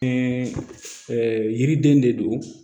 yiriden de don